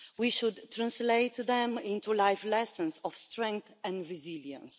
We should translate them into life lessons of strength and resilience.